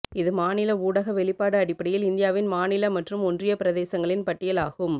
இது மாநில ஊடக வெளிப்பாடு அடிப்படையில் இந்தியாவின் மாநில மற்றும் ஒன்றியப் பிரதேசங்களின் பட்டியலாகும்